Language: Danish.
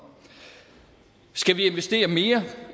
skal vi investere mere